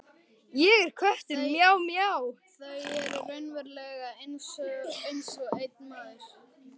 Þau eru raunverulega einsog einn maður.